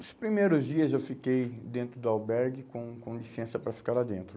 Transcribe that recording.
Os primeiros dias eu fiquei dentro do albergue com com licença para ficar lá dentro.